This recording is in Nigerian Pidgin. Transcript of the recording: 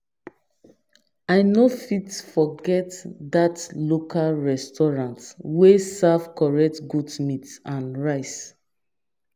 I no fit forget that local restaurant wey serve correct goat meat and rice.